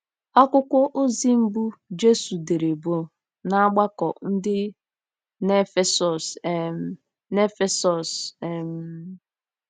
Akwụkwọ ozi mbụ Jesu dere bụ n'ọgbakọ dị n'Efesọs um. n'Efesọs um.